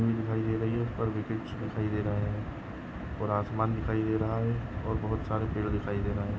की पिच बनी हुई दिखाई दे रही है ऊपर विकेट्स दिखाई दे रहा है और आसमान दिखाई दे रहा है और बहुत सारे पेड दिखायि दे रहे है|